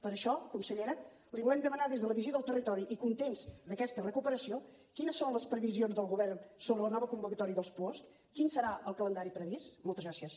per això consellera li volem demanar des de la visió del territori i contents d’aquesta recuperació quines són les previsions del govern sobre la nova convocatòria dels puosc quin serà el calendari previst moltes gràcies